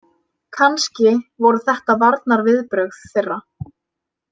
Kannski voru þetta varnarviðbrögð þeirra.